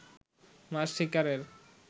মাছ শিকারের